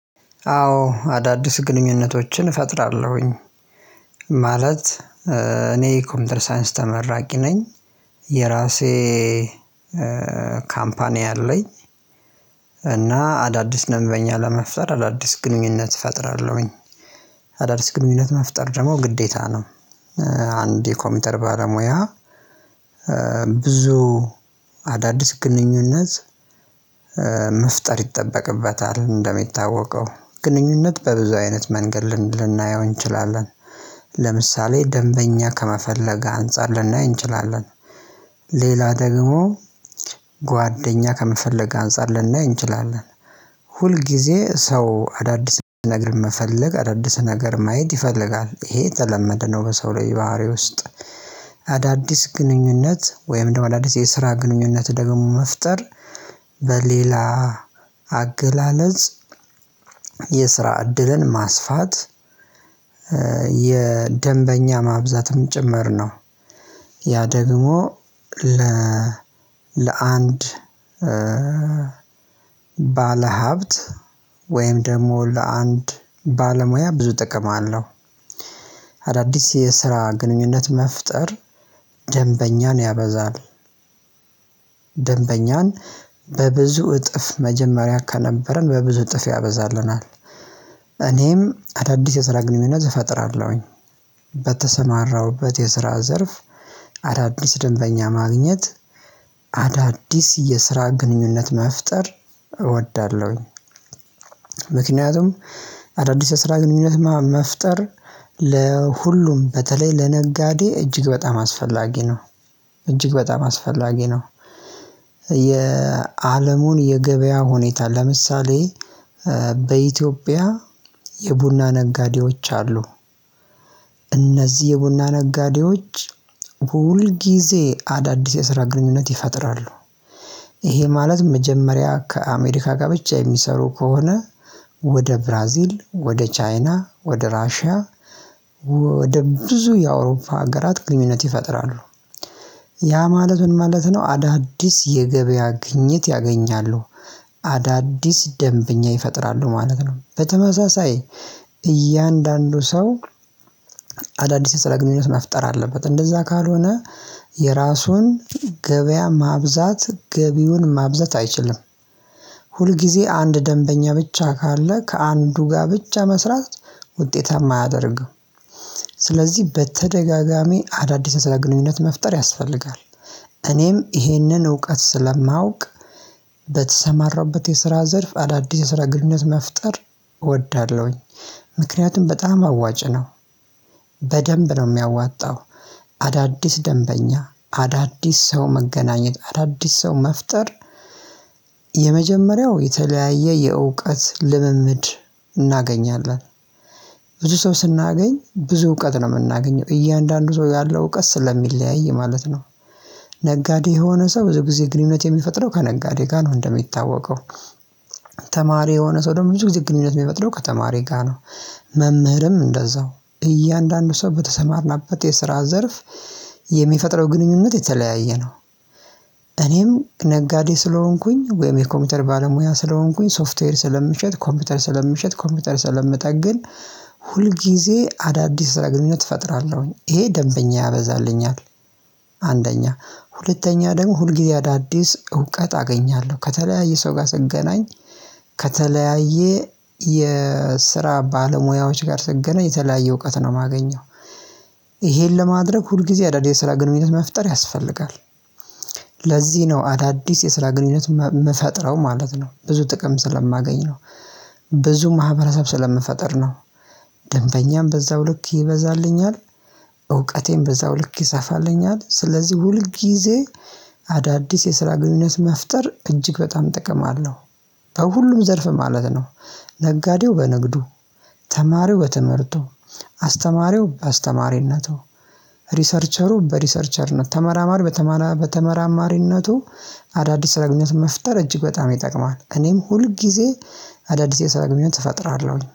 አዎ አዳዲስ ግንኙነቶችን እፈጥራለሁኝ፣ ማለት እኔ ኮንደርሳንስ ተመራቂ ነኝ፣ የራሴ ካምፓኒ አለኝ፣ እና አዳዲስ ደንበኛ ለመፍጠር አዳዲስ ግንኙነት እፈጥራለሁኝ። አዳዲስ ግንኙነት መፍጠር ደግሞ ግዴታ ነው አንድ የኮምፒውተር ባለሙያ ብዙ አዳዲስ ግንኙነት መፍጠር ይጠበቅበታል እንደሚታወቀው ግንኙነት በብዙ አይነት መንገድ ልናየው እንችላለን፤ ለምሳሌ ደንበኛ ከመፈለግ አንፃር ልናይ እንችላለን፣ ሌላ ደግሞ ጓደኛ ከመፈለግ አንፃር ልናይ እንችላለን፣ ሁል ጊዜ ሰው አዳዲስ ነገር መፈለግ አዳዲስ ነገር ማየት ይፈልጋል ይሄ የተለመደ ነው በሰው ልጅ ባህሪ ውስጥ አዳዲስ ግንኙነት ወይም ደግሞ አዳዲስ የስራ ግንኙነት ደግሞ መፍጠር በሌላ አገላለጽ የስራ እድልን ማስፋት የደንበኛ ማብዛትም ጭምር ነው። ያ ደግሞ ለአንድ ባለሀብት ወይም ደግሞ ለአንድ ባለሙያ ብዙ ጥቅም አለሁ። አዳዲስ የስራ ግንኙነት መፍጠር ደንበኛን ያበዛል፣ ደንበኛን በብዙ እጥፍ መጀመሪያ ከነበረን በብዙ እጥፍ ያበዛልናል እኔም አዳዲስ የስራ ግንኙነት እፈጥራለሁኝ በተሰማራሁበት የስራ ዘርፍ አዳዲስ ደንበኛ ማግኘት፣ አዳዲስ የስራ ግንኙነት መፍጠር እወዳለሁኝ ምክንያቱም አዳዲስ የስራ ግንኙነት መፍጠር ለሁሉም በተለይ ለነጋዴ እጅግ በጣም አስፈላጊ ነው እጅግ በጣም አስፈላጊ ነው የአለሙን የገበያ ሁኔታ ለምሳሌ በኢትዮጵያ የቡና ነጋዴዎች አሉ እነዚህ የቡና ነጋዴዎች ሁል ጊዜ አዳዲስ የስራ ግንኙነት ይፈጥራሉ ይሄ ማለት መጀመሪያ ከአሜሪካ ጋር ብቻ የሚሰሩ ከሆነ ወደ ብራዚል፣ ወደ ቻይና፣ ወደ ራሺያ ወደ ብዙ የአውሮፓ ሀገራት ግንኙነት ይፈጥራሉ፤ ያ ማለት ምን ማለት ነው አዳዲስ የገበያ ግኝት ያገኛሉ፣ አዳዲስ ደንብኛ ይፈጥራሉ ማለት ነው። በተመሳሳይ እያንዳንዱ ሰው አዳዲስ የስራ ግንኙነት መፍጠር አለበት እንደዛ ካልሆነ የራሱን ገበያ ማብዛት ገቢውን ማብዛት አይችልም። ሁልጊዜ አንድ ደንበኛ ብቻ ካለ ከአንዱ ጋር ብቻ መስራት ውጤታማ አያደርግም። ስለዚህ በተደጋጋሚ አዳዲስ የስራ ግንኙነት መፍጠር ያስፈልጋል እኔም ይሄንን እውቀት ስለማውቅ በተሰማራሁበት የስራ ዘርፍ አዳዲስ የስራ ግንኙነት መፍጠር እወዳለሁኝ። ምክንያቱም በጣም አዋጭ ነው በደንብ ነው የሚያዋጣው አዳዲስ ደንበኛ፣ አዳዲስ ሰው መገናኘት፣ አዳዲስ ሰው መፍጠር፣ የመጀመሪያው የተለያየ የእውቀት ልምምድ እናገኛለን ብዙ ሰው ስናገኝ ብዙ እውቀት ነው የምናገኘው እያንዳንዱ ሰው ያለው እውቀት ስለሚለያይ ማለት ነው ነጋዴ የሆነ ሰው ብዙ ጊዜ ግንኙነት የሚፈጥረው ከነጋዴ ጋር ነው እንደሚታወቀው ተማሪ የሆነ ሰው ደግሞ ብዙ ጊዜ ግንኙነት የሚፈጥረው ከተማሪ ጋር ነው መምህርም እንደዛው እያንዳንዱ ሰው በተሰማርናበት የስራ ዘርፍ የሚፈጥረው ግንኙነት የተለያየ ነው። እኔም ነጋዴ ስለሆንኩኝ ወይም የኮምፒውተር ባለሙያ ስለሆንኩኝ ሶፍትዌር ስለምሸጥ፣ ኮምፒውተር ስለምሸጥ፣ ኮምፒውተር ስለምጠግን፣ ሁል ጊዜ አዳዲስ ስራ ግንኙነት ፈጥራለሁኝ ይሄ ደንበኛ ያበዛልኛል አንደኛ፤ ሁለተኛ ደግሞ ሁልጊዜ አዳዲስ እውቀት አገኛለሁ ከተለያየ ሰው ጋር ስገናኝ ከተለያየ የስራ ባለሙያዎች ጋር ስገና የተለያየ እውቀት ነው የማገኘው ይሄን ለማድረግ ሁል ጊዜ አዳዲስ ስራ ግንኙነት መፍጠር ያስፈልጋል። ለዚህ ነው አዳዲስ የስራ ግንኙነት የምፈጥረው ማለት ነው ብዙ ጥቅም ስለማገኝ ነው ብዙ ማህበረሰብ ስለምፈጠር ነው ደንበኛም በዛው ልክ ይበዛልኛል እውቀቴን በዛው ልክ ይሰፋልኛል፣ ስለዚህ ሁል ጊዜ አዳዲስ የስራ ግንኙነት መፍጠር እጅግ በጣም ጥቅም አለው። ከሁሉም ዘርፍ ማለት ነው ነጋዴው በንግዱ ተማሪው በትምህርቱ፣ አስተማሪው አስተማሪነቱ፣ ሪሰርቸሩ በሪሰርቸርነት፣ ተመራማሪ በተመራማሪነቱ አዳዲስ የስራ ግንኙነት መፍጠር እጅግ በጣም ይጠቅማል እኔም ሁል ጊዜ አዳዲስ የስራ ግንኙነት እፈጥራለሁኝ።